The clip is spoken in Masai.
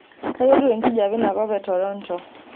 kayieu etiu enkijape inakop etoronto